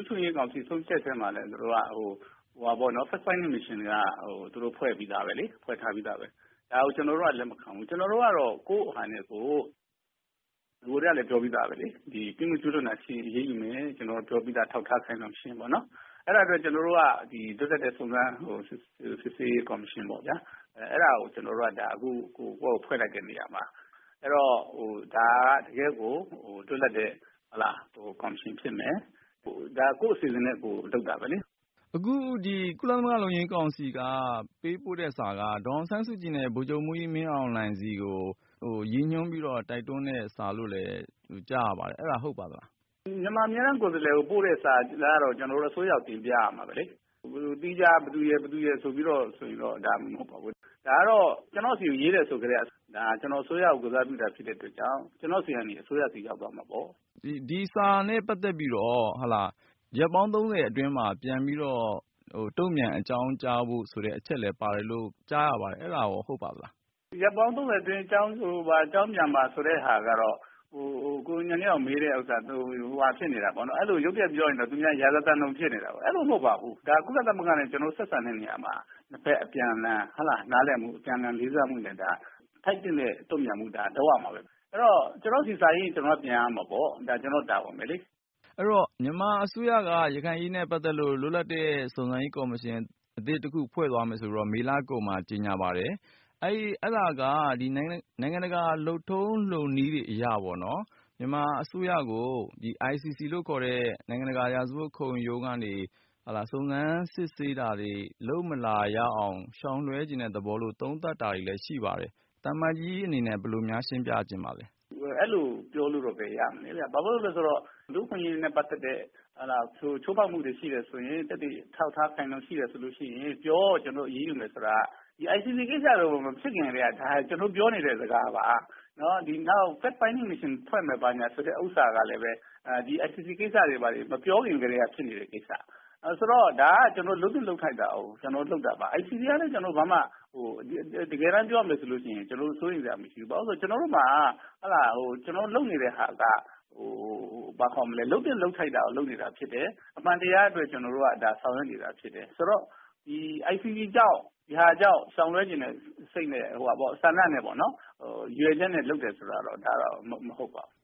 အခွင့်အရေးကောင်စီဆုံးဖြတ်ချက်မှာလည်း Facts finding mission လည်းဖွင့်ပြီးသားလေ။ အဲဒါကို ကျနော်တို့က လက်မခံဘူး။ ကျနော်တို့ကတော့ ကိုယ့်ဟာနဲ့ကို နဂိုကတည်းကလည်း ပြောထားပြီးသားလေ။ ပြစ်မှုကျူးလွန်တာရှိရင် အရေးယူမယ် ကျနော်တို့အထောက်အထားအခိုင်အလုံရှိရင် အရေးယူမယ်လို့ ပြောပြီးသားလေ။ အဲဒီအတွက် ကျနော်တို့က လွတ်လပ်တဲ့ စုံစမ်းစစ်ဆေးရေးကော်မရှင် အဲဒါကို အခုကိုယ့်ဟာကိုယ်ဖွဲ့လိုက်တဲ့နေရာမှာ အဲဒီတော့ ဒါက တကယ့်ကို လွတ်လပ်တဲ့ကော်မရှင်ဖြစ်မယ်။ ဒါကကိုယ့်အစီအစဉ်နဲ့ကိုယ်လုပ်တာပဲလေ။ အခုဒီကုလသမဂ္ဂလုံခြုံရေးကောင်စီက ပေးပို့တဲ့စာက ဒေါ်အောင်ဆန်းစုကြည် နဲ့ ဗိုလ်ချုပ်မှူးကြီးမင်းအောင်လှိုင်စီကို ရည်ညွှန်းပြီး တိုက်တွန်းတဲ့ စာလို့လည်း ကြားရပါတယ်။ အဲဒါဟုတ်ပါသလား။ မြန်မာအမြဲတမ်းကိုယ်စားလှယ်ကို ပို့တဲ့စာက ကျနော်တို့အစိုးရကို တင်ပြရမှာပဲလေ။ သီးခြားဘယ်သူရယ်၊ ဘယ်သူရယ်ဆိုပြီးတော့ မဟုတ်ပါဘူး။ ဒါကတော့ ကျနော့်ဆီကိုရေးတယ်ဆိုကတည်းက ကျနော်တို့အစိုးရကို ကိုယ်စားပြုတာအတွက်ကြောင့် ကျနော့်ဆီကနေ အစိုးရဆီကို ရောက်သွားမှာပေါ့နော်။ ဒီစာနဲ့ပတ်သက်ပြီးတော့ ရက်ပေါင်း ၃၀ အတွင်းမှာ ပြန်ပြီးတော့ တုံ့ပြန်အကြောင်းကြားဖို့ဆိုတဲ့အချက်အလက်ပါတယ်ဆိုပြီးတော့ ကြားရပါတယ်။ အဲဒါဟုတ်ပါသလား။ ရက်ပေါင်း ၃၀ အတွင်း အကြောင်းကြားဖို့ဆိုတာက ရုတ်တရက်ပြောရင် ရာဇသံလိုဖြစ်နေတယ်ပေါ့နော်။ အဲလိုမဟုတ်ပါဘူး။ ဒါက ကုလသမဂ္ဂနဲ့ ကျနော်ဆို့ဆက်ဆံတဲ့နေရာမှာ ၂ ဖက်အပြန်အလှန်နားလည်မှု အပြန်အလှန်လေးစားမှုနဲ့ ထိုက်သင့်တဲ့ တုံ့ပြန်မှုကတော့ လုပ်ရမှာပဲ။ အဲဒီတော့ ကျနော့့်ဆီစာရေးရင် ကျနော်ပြန်ရမှာပေါ့ ကျနော့်တာဝန်ပဲလေ။ မြန်မာအစိုးရကလည်း ရခိုင်အရေးနဲ့ ပတ်သက်လို့ လွတ်လပ်တဲ့ စုံစမ်းရေးကော်မရှင် အသစ်တခုဖွဲ့သွားမယ်ဆိုပြီး မေလကုန်မှာ ကြေညာပါတယ်။ အဲဒါက နိုင်ငံတကာ လုပ်ထုံးလုပ်နည်းတွေအရ မြန်မာအစိုးရကို ICC လို့ခေါ်တဲ့ နိုင်ငံတကာ ရာဇဝတ်ခံရုံးကနေ စုံစမ်းစစ်ဆေးတာတွေ လုပ်မလာရအောင် ရှောင်လွဲချင်တဲ့သဘောလို့ သုံးသပ်တာတွေလည်းရှိပါတယ်။ သံအမတ်ကြီးအနေနဲ့ ဘယ်လိုများရှင်းပြချင်ပါသလဲ။ အဲလိုပြောလို့တော့ဘယ်ရမလဲဗျာ ဘာဖြစ်လို့လဲဆိုတော့ လူ့အခွင့်အရေးနဲ့ ပတ်သက်တဲ့ ချိုးဖောက်မှုတွေရှိတယ်ဆိုရင် သက်သေအထောက်အထား ခိုင်ခိုင်လုံလုံရှိတယ်ဆိုရင် ပြော ကျနော်တို့ အရေးယူမယ်ဆိုတာ။ ICC ကိစ္စ မဖြစ်ခင်ကတည်းက ကျနော်တို့ ပြောနေတဲ့ စကားပါ။ နောက်ပြီးတော့ Fact Finding Mission ဖွဲ့မယ်ဆိုတာကလည်း ဒီ ကိစ္စတွေ မပြောခင်ကတည်းက ဖြစ်နေတဲ့ ကိစ္စ။ ဆိုတော့ ဒါက လုပ်သင့်လုပ်ထိုက်တာကို ကျနေ်ာတို့လုပ်တာပါ။ ICCကလည်း ကျနော်တို့ တကယ်တမ်းပြောရမယ်ဆိုရင် စိုးရိမ်စရာမရှိဘူး ဘာဖြစ်လို့လဲဆိုတော့ ကျနော်တို့မှာ ကျနော်တို့လုပ်နေတာတွေက လုပ်သင့်လုပ်ထိုက်တာကို လုပ်တာဖြစ်တယ် အမှန်တရားအတွက် ကျနော်တို့ ဆောင်ရွက်နေတာဖြစ်တယ်။ ဆိုတော့ ဒီ ICC ကြောင့် ရှောင်လွှဲချင်တဲ့ စိတ်နဲ့ ကျနော်တို့ ဆန္ဒနဲ့ပေါ့နော် ရည်ရွယ်ချက်နဲ့ လုပ်တယ်ဆိုတာကတော့ မဟုတ်ပါဘူး